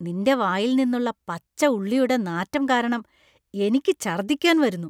നിന്‍റെ വായിൽ നിന്നുള്ള പച്ച ഉള്ളിയുടെ നാറ്റം കാരണം എനിക്ക് ഛർദ്ദിക്കാൻ വരുന്നു.